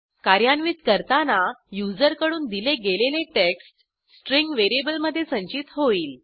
कार्यान्वित करताना युजरकडून दिले गेलेले टेक्स्ट स्ट्रिंग व्हेरिएबलमधे संचित होईल